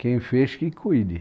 Quem fez, que cuide.